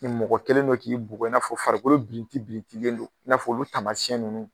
Ni mɔgɔ kelen don k'i bugɔ i n'afɔ farikolo birinti birintilen don i n'a olu taamayɛn ninnu